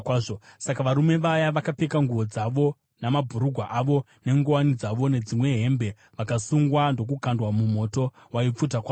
Saka varume ava, vakapfeka nguo dzavo, namabhurugwa avo, nenguwani dzavo nedzimwe hembe, vakasungwa ndokukandwa mumoto waipfuta kwazvo.